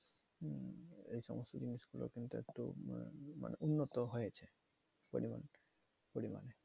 এই সমস্ত জিনিসগুলো কিন্তু একটু মানে উন্নত হয়েছে পরিমান পরিমানে।